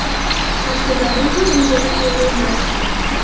Aslida bu ham unchalik to‘g‘ri emas.